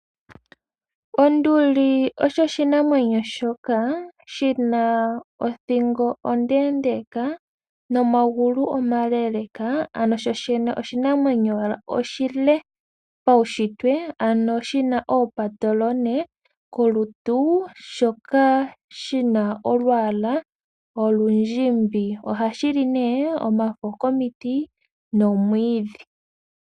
Onduli osho oshinamwenyo shoka shi na othingo ondeendeeka nomagulu omaleeleka, ano shoshene oshinamwenyo oshile paushitwe. Oshi na oompatolone kolutu, shoka shi na olwaala olundjimbi. Ohashi li omafo komiti noomwiidhi.